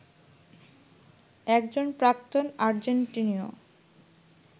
একজন প্রাক্তন আর্জেন্টিনীয়